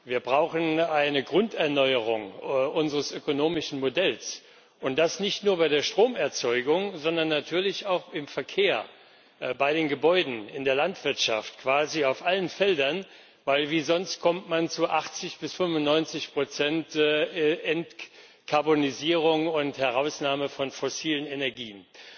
Wir brauchen eine Grunderneuerung unseres ökonomischen Modells, und das nicht nur bei der Stromerzeugung, sondern natürlich auch im Verkehr, bei den Gebäuden, in der Landwirtschaft, quasi auf allen Feldern, denn wie sonst kommt man zu 80 bis 95 Entkarbonisierung und Herausnahme von fossilen Energien.